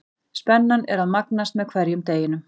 Spennan er að magnast með hverjum deginum.